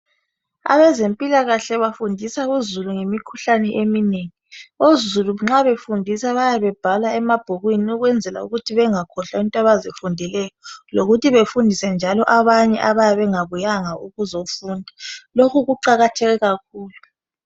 Abezempilakahle bafundisa izulu ngemikhuhlane eminengi. Izulu nxa efundiswa bayabe bebhala emabhukwini ukwenzela ukuthi bengakhohlwa into abazifundileyo lokuthi befundise njalo abanye abayabe bengabuyanga ukuzofunda. Lokhu kuqakatheke kakhulu.